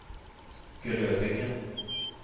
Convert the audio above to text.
Grödinge